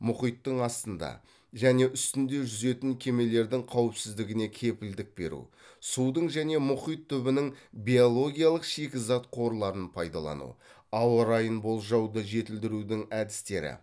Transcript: мұхиттың астында және үстінде жүзетін кемелердің қауіпсіздігіне кепілдік беру судың және мұхит түбінің биологиялық шикізат қорларын пайдалану ауа райын болжауды жетілдірудің әдістері